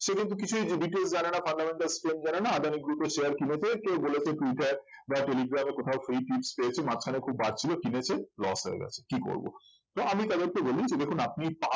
সে কিন্তু কিছুই details জানে না fundamental scheme জানে না আদানি group এর share কিনেছে কেউ বলেছে টুইটার বা টেলিগ্রাম এ কোথাও free tips পেয়েছে মাঝখানে খুব বার ছিল কিনেছে loss হয়ে গেছে কি করব তো আমি তাদেরকে বলি যে দেখুন আপনি